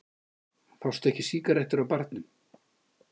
Fást ekki sígarettur á barnum?